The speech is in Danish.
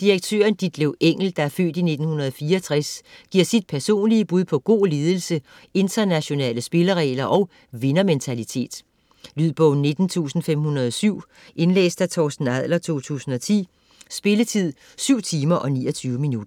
Direktøren Ditlev Engel (f. 1964) giver sit personlige bud på god ledelse, internationale spilleregler og vindermentalitet. Lydbog 19507 Indlæst af Torsten Adler, 2010. Spilletid: 7 timer, 29 minutter.